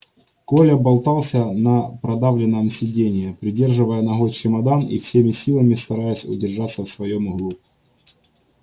коля болтался на продавленном сиденье придерживая ногой чемодан и всеми силами стараясь удержаться в своём углу